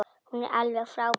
Hún er alveg frábær.